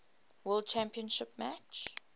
world championship match